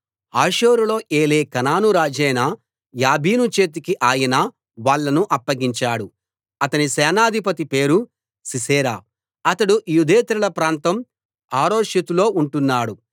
హాసోరులో ఏలే కనాను రాజైన యాబీను చేతికి ఆయన వాళ్ళను అప్పగించాడు అతని సేనాధిపతి పేరు సీసెరా అతడు యూదేతరుల ప్రాంతం హరోషెతులో ఉంటున్నాడు